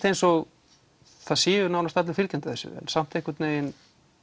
eins og það séu nánast allir fylgjandi þessu samt einhvern veginn